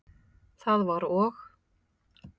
Það var og?